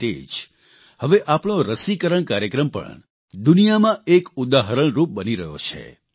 તે રીતે જ હવે આપણો રસીકરણ કાર્યક્રમ પણ દુનિયામાં એક ઉદાહરણરૂપ બની રહ્યો છે